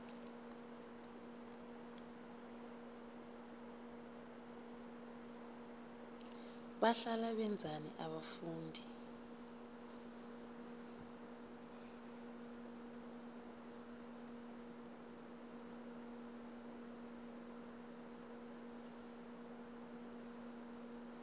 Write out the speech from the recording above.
bahlala benzani abafundi